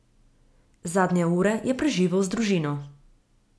Zadnje ure je preživel z družino.